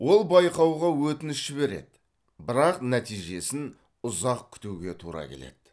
ол байқауға өтініш жібереді бірақ нәтижесін ұзақ күтуге тура келеді